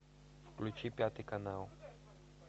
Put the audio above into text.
включи пятый канал